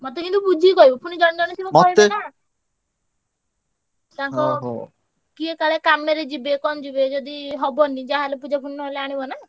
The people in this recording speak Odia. ମତେ କିନ୍ତୁ ବୁଝିକି କହିବୁ ପୁଣି ଜଣେ ଜଣେ ଥିବେ ତାଙ୍କ କିଏ କାଳେ କାମେରେ ଯିବେ କଣ ଯିବେ ଯଦି ହବନି ଯାହାହେଲେ ପୂଜା ପୁଣି ନହେଲେ ଆଣିବ ନା। ହେଲା ଆଉ ତାଙ୍କର